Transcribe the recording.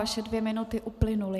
Vaše dvě minuty uplynuly.